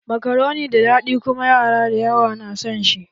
Makaroni na da daɗi kuma yara da yawa na san shi